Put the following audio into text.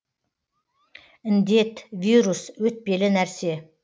індет вирус өтпелі нәрсе